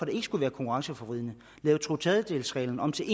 ikke skulle være konkurrenceforvridende lavet totredjedelsreglen om til